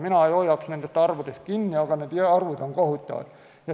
Mina ei hoiaks nendest arvudest kinni, aga need arvud on kohutavad.